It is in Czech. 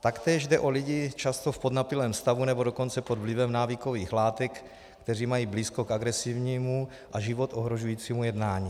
Taktéž jde o lidi často v podnapilém stavu, nebo dokonce pod vlivem návykových látek, kteří mají blízko k agresivnímu a život ohrožujícímu jednání.